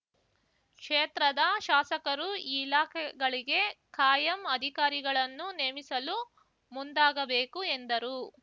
ಕ್ಷೇತ್ರದ ಶಾಸಕರು ಈ ಇಲಾಖೆಗಳಿಗೆ ಕಾಯಂ ಅಧಿಕಾರಿಗಳನ್ನು ನೇಮಿಸಲು ಮುಂದಾಗಬೇಕು ಎಂದರು